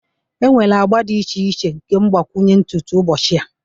enwere agba dị iche iche nke mgbakwunye ntutu ụbọchị a